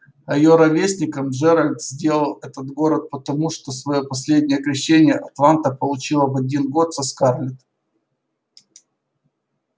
а её ровесником джералд сделал этот город потому что своё последнее крещение атланта получила в один год со скарлетт